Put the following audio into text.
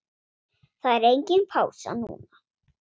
Það er engin pása núna.